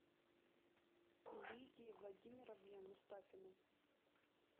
лидии владимировне мустафиной